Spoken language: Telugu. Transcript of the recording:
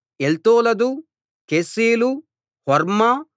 ఎల్తోలదు కెసీలు హోర్మా